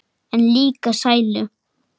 En líka sælu.